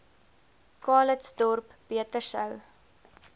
calitzdorp beter sou